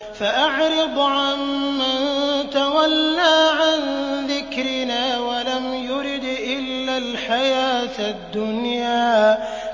فَأَعْرِضْ عَن مَّن تَوَلَّىٰ عَن ذِكْرِنَا وَلَمْ يُرِدْ إِلَّا الْحَيَاةَ الدُّنْيَا